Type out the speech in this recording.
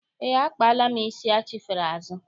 Eé, akpaala m isi achifere azụ.